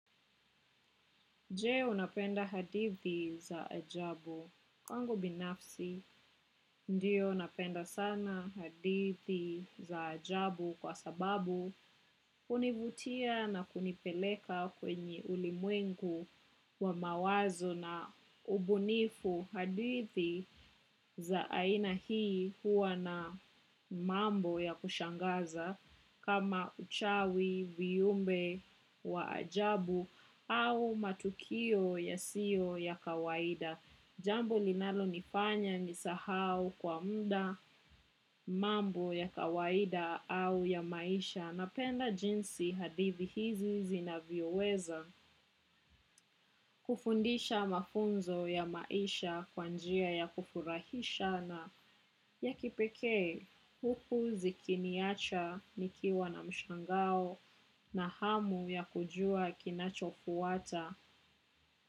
Je unapenda hadithi za ajabu. Kwangu binafsi, ndio napenda sana hadithi za ajabu kwa sababu univutia na kunipeleka kwenye ulimwengu wa mawazo na ubunifu hadithi za aina hii huwa na mambo ya kushangaza kama uchawi, viyumbe, waajabu au matukio ya siyo ya kawaida Jambo linalo nifanya ni sahau kwa muda mambo ya kawaida au ya maisha Napenda jinsi hadithi hizi zinavyo weza kufundisha mafunzo ya maisha kwa njia ya kufurahisha na ya kipeke Huku zikiniacha nikiwa na mshangao na hamu ya kujua kinacho kuwata.